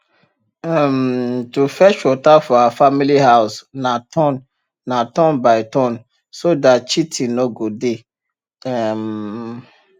um to fetch water for our family house na turn na turn by turn so dat cheatin nor go dey um